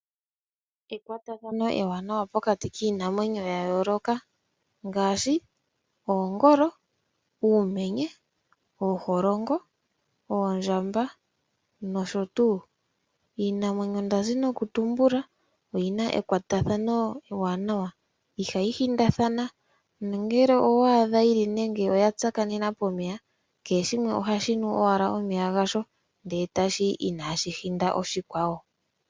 Ekwatathano ewaanawa pokati kiinamwenyo ya yooloka ngaashi oongolo, uumenye, ooholongo, oondjamba nosho tuu. Iinamwenyo ndazi noku tumbula oyina ekwatathano ewaanawa, ihayi hindathana nongele owa adha yili nande oya tsakanena pomeya, kehe shimwe ohashi nu owala omeya gasho ndele e ta shi yi inaashi hinda oshikwawo.